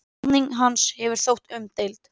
Ráðning hans hefur þótt umdeild.